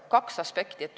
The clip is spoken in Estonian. Kaks aspekti.